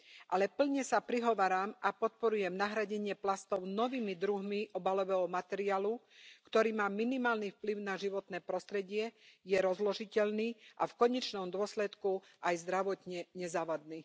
Ale plne sa prihováram a podporujem nahradenie plastov novými druhmi obalového materiálu, ktorý má minimálny vplyv na životné prostredie, je rozložiteľný a v konečnom dôsledku aj zdravotne nezávadný.